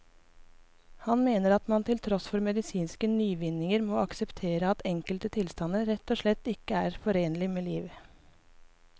Han mener at man til tross for medisinske nyvinninger må akseptere at enkelte tilstander rett og slett ikke er forenlig med liv.